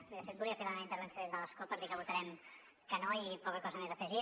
bé de fet volia fer la meva intervenció des de l’escó per dir que votarem que no i poca cosa més a afegir